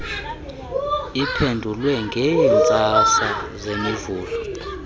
iphendulwe ngeentsasa zemivulo